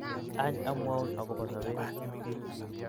Any amwaun akobo sobet.